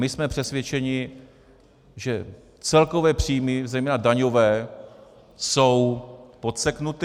My jsme přesvědčeni, že celkové příjmy, zejména daňové, jsou podseknuty.